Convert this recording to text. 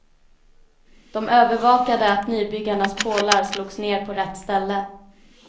De övervakade att nybyggarnas pålar slogs ner på rätt ställe.